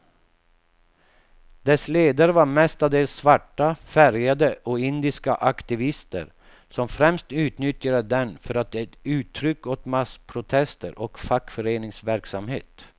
Dess ledare var mestadels svarta, färgade och indiska aktivister, som främst utnyttjade den för att ge uttryck åt massprotester och fackföreningsverksamhet.